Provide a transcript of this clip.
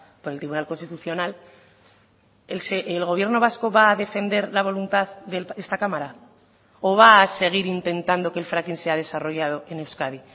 por el tribunal constitucional el gobierno vasco va a defender la voluntad de esta cámara o va a seguir intentando que el fracking sea desarrollado en euskadi